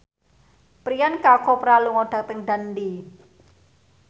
Priyanka Chopra lunga dhateng Dundee